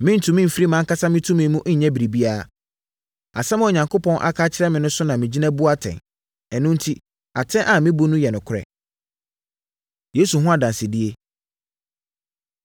Merentumi mfiri mʼankasa me tumi mu nyɛ biribiara; asɛm a Onyankopɔn aka akyerɛ me no so na megyina bu atɛn. Ɛno enti, atɛn a mebu no yɛ nokorɛ. Yesu Ho Adansedie